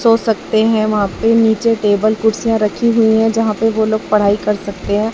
सो सकते हैं वहां पे नीचे टेबल कुर्सीया रखी हुई है जहां पे वो लोग पढ़ाई कर सकते हैं।